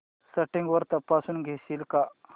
settings तपासून घेशील का